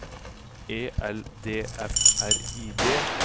E L D F R I D